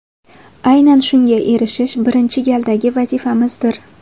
Aynan shunga erishish birinchi galdagi vazifamizdir.